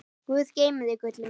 Guð geymi þig, gullið mitt.